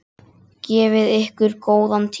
Gefið ykkur góðan tíma.